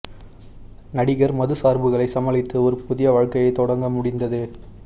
நடிகர் மது சார்புகளை சமாளித்து ஒரு புதிய வாழ்க்கையைத் தொடங்க முடிந்தது